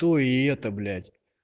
то и это блять